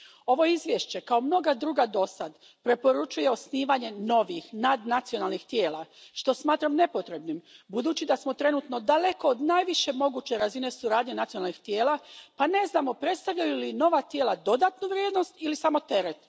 Ovo izvješće, kao mnoga druga dosad, preporučuje osnivanje novih nadnacionalnih tijela, što smatram nepotrebnim budući da smo trenutno daleko od najviše moguće razine suradnje nacionalnih tijela pa ne znamo predstavljaju li nova tijela dodanu vrijednost ili samo teret.